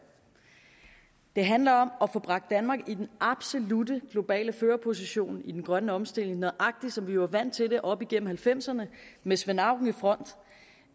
det handler om at få bragt danmark i den absolutte globale førerposition i den grønne omstilling nøjagtig som vi var vant til det op igennem nitten halvfemserne med svend auken